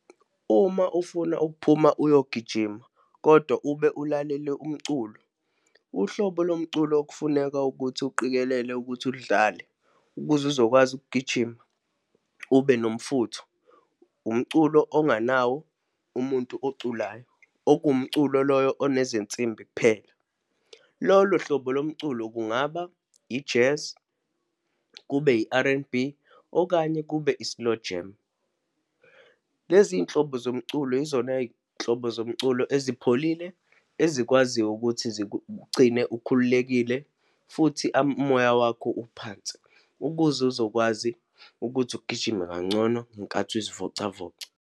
Uma ufuna ukuphuma uyogijima, kodwa ube ulalele umculo, uhlobo lomculo okufuneka ukuthi uqikelele ukuthi ulidlale ukuze uzokwazi ukugijima, ube nomfutho, umculo onganawo umuntu oculayo, okuwumculo loyo onezinsimbi kuphela. Lolo hlobo lomculo kungaba i-jazz, kube i-R_N_B, okanye kube i-slowjam. Lezi iy'nhlobo zomculo yizona y'nhlobo zomculo ezipholile, ezikwaziyo ukuthi zikugcine ukhululekile futhi umoya wakho uphansi, ukuze uzokwazi ukuthi ugijime kangcono ngenkathi uzivocavoca.